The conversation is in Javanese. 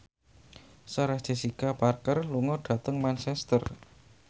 Sarah Jessica Parker lunga dhateng Manchester